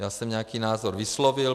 Já jsem nějaký názor vyslovil.